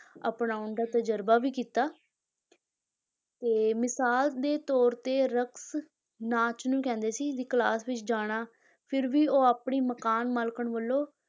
ਅਪਣਾਉਣ ਦਾ ਤਜਰਬਾ ਵੀ ਕੀਤਾ ਤੇ ਮਿਸਾਲ ਦੇ ਤੌਰ ਤੇ ਰਕਸ, ਨਾਚ ਨੂੰ ਕਹਿੰਦੇ ਸੀ, ਦੀ class ਵਿੱਚ ਜਾਣਾ, ਫਿਰ ਵੀ ਉਹ ਆਪਣੀ ਮਕਾਨ ਮਾਲਕਣ ਵੱਲੋਂ